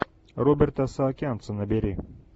роберта саакянца набери